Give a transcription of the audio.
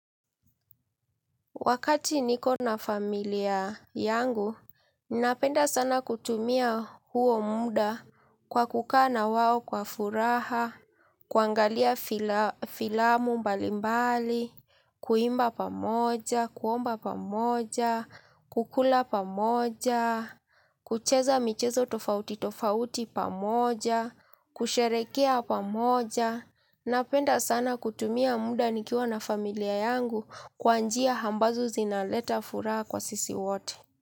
Wakati niko na familia yangu, ninapenda sana kutumia huo muda kwa kukaa na wao kwa furaha, kuangalia fila filamu mbalimbali, kuimba pamoja, kuomba pamoja, kukula pamoja, kucheza michezo tofauti tofauti pamoja, kusherehekea pamoja. Napenda sana kutumia muda nikiwa na familia yangu kwa njia ambazo zinaleta furaha kwa sisi wote.